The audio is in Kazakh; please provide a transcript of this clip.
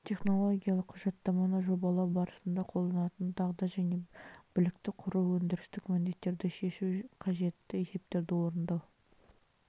технологиялық құжаттаманы жобалау барысында қолданылатын дағды және білікті құру өндірістік міндеттерді шешу қажетті есептерді орындау